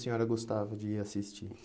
A senhora gostava de ir assistir